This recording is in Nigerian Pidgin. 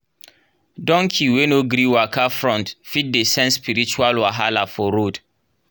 donkey wey no gree waka front fit dey sense spiritual wahala for road.